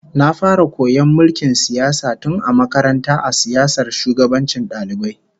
Na fara koyon mulkin siyasa tun a makaranta a siyasar shugabancin dalibai